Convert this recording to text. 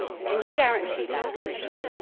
Can you guarantee that, Commissioner?